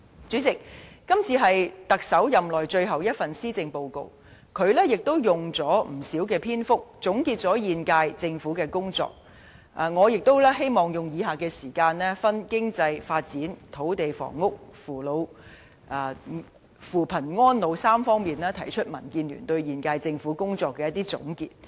主席，今次是特首任內最後一份施政報告，他也花了不少篇幅總結現屆政府的工作，我也希望利用餘下時間，分別以經濟發展、土地房屋、扶貧安老3方面提出民建聯對現屆政府工作的一些總結。